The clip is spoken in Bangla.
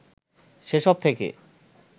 সেসব থেকে